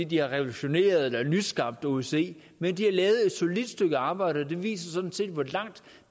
de har revolutioneret eller nyskabt osce men de har lavet et solidt stykke arbejde og det viser sådan set hvor langt